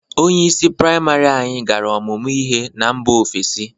Onyeisi prịamarị anyị gara ọmụmụ ihe na mba ofesi.